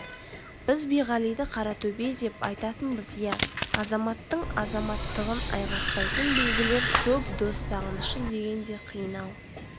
біз биғалиды қаратөбе деп атайтынбыз иә азаматтың азаматтығын айғақтайтын белгілер көп дос сағынышы деген де қиын-ау